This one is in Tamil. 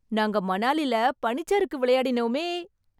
நாங்க மணாலில பனிச்சறுக்கு விளையாடினோமே.